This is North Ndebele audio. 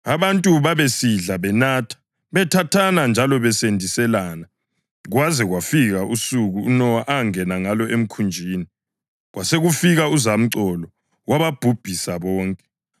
Abantu babesidla, benatha, bethathana njalo besendiselana kwaze kwafika usuku uNowa angena ngalo emkhunjini. Kwasekufika uzamcolo wababhubhisa bonke.